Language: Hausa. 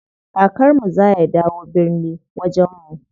Kakar mu za ya dawo birni wajen mu.